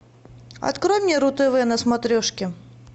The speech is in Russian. открой мне ру тв на смотрешке